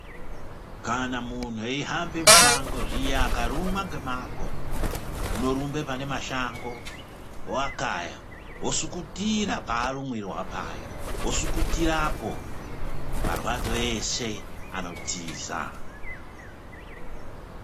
Kana munhu eihambe mushango zviya akarumwa ngemago, unorumbe pane mashango oakaya, osukutira parumiwa paya, wosukurirapo, marwadzo eshe anotiza.